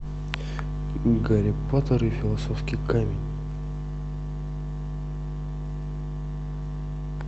гарри поттер и философский камень